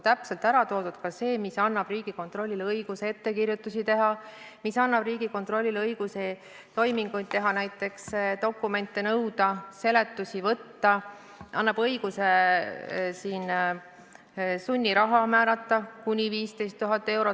Täpselt on ära toodud ka see, mis annab Riigikontrollile õiguse ettekirjutisi teha, mis annab Riigikontrollile õiguse toiminguid teha, näiteks dokumente nõuda, seletusi võtta, mis annab õiguse määrata sunniraha kuni 15 000 eurot.